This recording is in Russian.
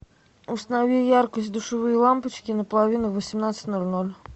установи яркость душевые лампочки на половину в восемнадцать ноль ноль